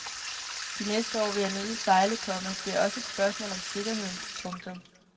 De næste år vil jeg nødig sejle, komma det er også et spørgsmål om sikkerheden. punktum